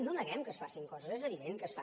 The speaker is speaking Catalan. no neguem que es facin coses és evident que es fan